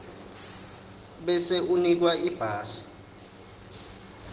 bese unikwa ibhasi